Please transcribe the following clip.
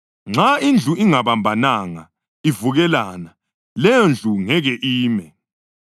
Nxa indlu ingabambananga, ivukelana, leyondlu ngeke ime.